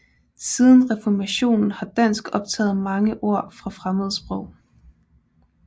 Siden reformationen har dansk optaget mange ord fra fremmede sprog